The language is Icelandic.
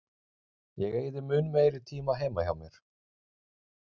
Ég eyði mun meiri tíma heima hjá mér.